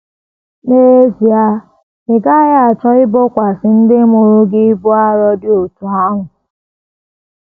N’ezie, ị gaghị achọ ibokwasị ndị mụrụ gị ibu arọ dị otú ahụ!